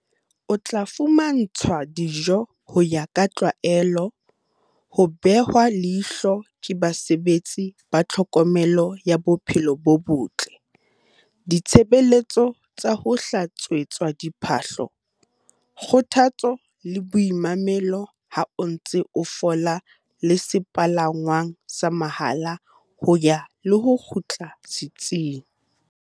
O tla fumantshwa dijo ho ya ka tlwaelo, ho behwa leihlo ke basebetsi ba tlhokomelo ya bophelo bo botle, ditshebeletso tsa ho hlatswetswa diphahlo, kgothatso le boimamelo ha o ntse o fola le sepalangwang sa mahala ho ya le ho kgutla setsing.